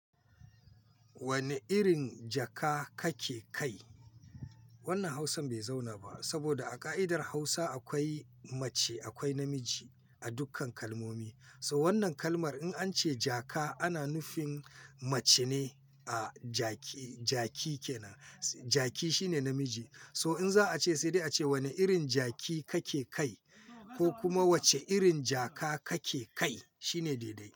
Wane irin jaka kake kai? Wannan Hausan bai zauna ba saboda a ka'idar Hausa akwai mace akwai namiji a dukkan kalmomi. So wannan kalmar in an ce jaka ana nufin mace ne, ah jaki, jaki kenan. Jaki shine namiji. So in za a ce sai dai a ce wane irin jaki kake kai ko kuma wace irin jaka kake kai shine daidai.